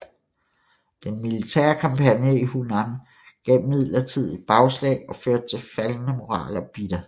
Den militære kampagne i Hunan gav imidlertid bagslag og førte til faldende moral og bitterhed